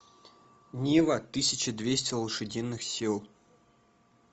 нива тысяча двести лошадиных сил